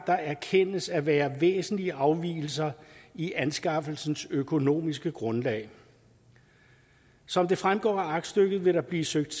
der erkendes at være væsentlige afvigelser i anskaffelsens økonomiske grundlag som det fremgår af aktstykket vil der blive søgt